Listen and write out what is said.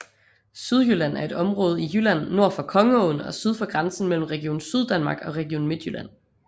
Sydjylland er et område i Jylland nord for Kongeåen og syd for grænsen mellem Region Syddanmark og Region Midtjylland